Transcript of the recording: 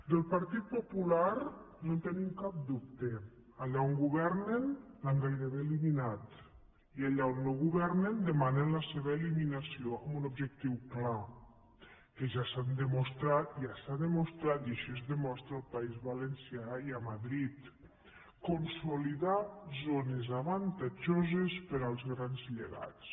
del partit popular no en tenim cap dubte allà on governen l’han gairebé eliminat i allà on no governen demanen la seva eliminació amb un objectiu clar que ja s’ha demostrat i així es demostra al país valencià i a madrid consolidar zones avantatjoses per als grans llegats